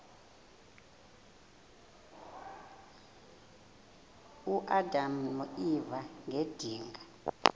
uadam noeva ngedinga